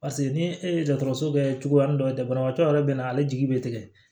Paseke ni e ye dɔgɔtɔrɔso kɛ cogoya min dɔ ye banabagatɔ yɛrɛ bɛ na ale jigi bɛ tigɛ